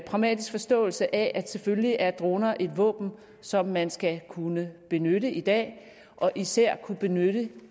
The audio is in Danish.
pragmatisk forståelse af at selvfølgelig er droner et våben som man skal kunne benytte i dag og især kunne benytte